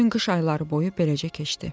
Bütün qış ayları boyu beləcə keçdi.